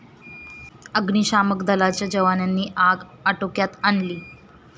अग्निशामक दलाच्या जवानांनी आग आटोक्यात आणली.